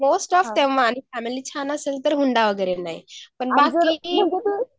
most of family छान आसेल तर हुंडा वगैरे नाही पण बाकी